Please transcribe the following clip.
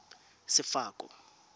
sefako